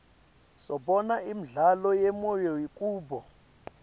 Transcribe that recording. sibona imidlalo yemoya kubo